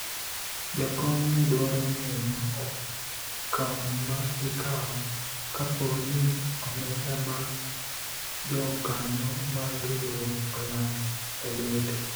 jakom ne dwaro ng'eyo okengo ma ikawo kapo ni omenda mag jokanyo mag riwruok olal e lwete